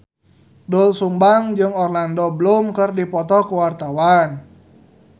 Doel Sumbang jeung Orlando Bloom keur dipoto ku wartawan